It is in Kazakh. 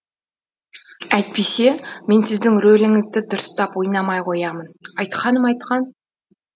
әйтпесе мен сіздің рөліңізді дұрыстап ойнамай қоямын айтқаным айтқан